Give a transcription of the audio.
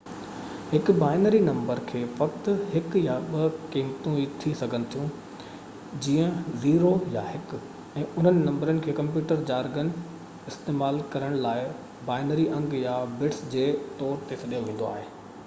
هڪ binary number کي فقط هڪ يا ٻه قيمتون ٿي سگهن ٿيون جيئن 0 يا 1 ۽ انهن نمبرن کي ڪمپيوٽر جارگن استعمال ڪرڻ لاءِ بائنري انگ يا بٽس جي طور تي سڏيو ويندو آهي